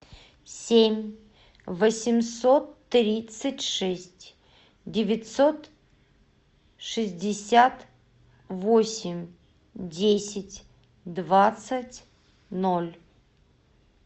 семь восемьсот тридцать шесть девятьсот шестьдесят восемь десять двадцать ноль